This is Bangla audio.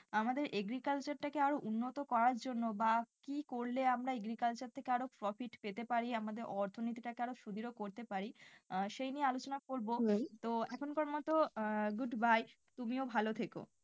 আমাদের agriculture টাকে আরো উন্নত করার জন্য বা কি করলে আমরা agriculture থেকে আরো profit পেতে পারি আমাদের অর্থনীতি টাকে আরও সুদৃঢ় করতে পারি আহ সেই নিয়ে আলোচনা তো এখনকার মতো আহ good by তুমিও ভালো থেকো।